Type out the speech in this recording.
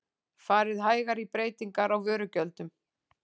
Farið hægar í breytingar á vörugjöldum